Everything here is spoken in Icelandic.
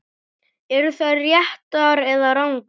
Eru þær réttar eða rangar?